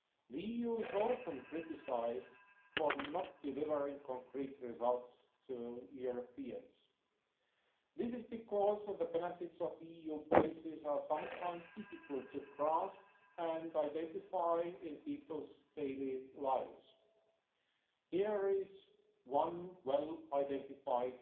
The EU is often criticised for not delivering concrete results to Europeans. This is because the benefits of EU policies are sometimes difficult to grasp and identify in people's daily lives. Here is one well identified